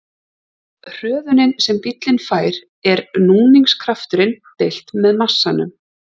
Hröðunin sem bíllinn fær er núningskrafturinn deilt með massanum.